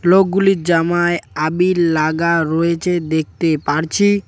লোকগুলির জামায় আবির লাগা রয়েছে দেখতে পারছি।